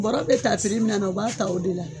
Bɔra bɛ ta min na na u b'a ta o de la ya